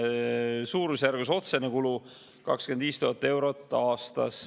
Suurusjärgus otsene kulu 25 000 eurot aastas.